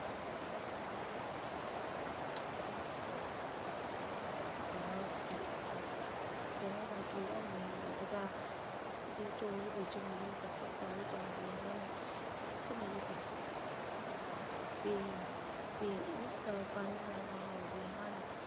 ਉਹਨਾਂ ਦਾ ਅਹ ਕਿਸੇ ਵੀ ਤਰਾਂ ਦਾ ਕੀੜਾ ਨਹੀਂ ਲੱਗਦਾ ਕਣਕ ਦੇ ਟੋਲ ਵਿੱਚ ਮੇਰੇ ਪੱਤੇ ਪਾਏ ਜਾਂਦੇ ਹਨ ਲੋਕ ਮੇਰੇ ਪੱਤੇ ਉਬਾਲ ਕੇ ਕੇ ਉਸ ਦਾ ਪਾਣੀ ਨਾਲ ਨਹਾਉਂਦੇ ਹਨ